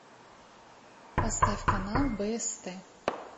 поставь канал бст